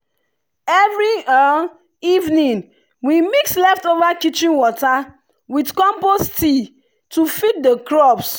every evening we mix leftover kitchen water with compost tea to feed the crops.